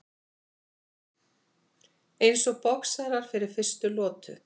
Eins og boxarar fyrir fyrstu lotu.